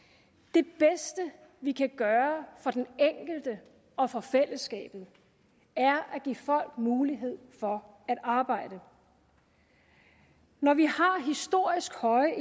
det bedste vi kan gøre for den enkelte og for fællesskabet er at give folk mulighed for at arbejde når vi har historisk høje